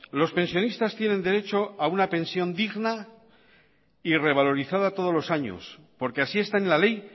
los pensionistas tienen derecho a una pensión digna y revalorizada todos los años porque así está en la ley